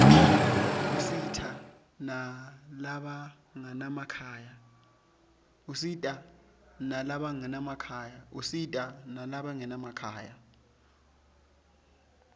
usita nalabanganamakhaya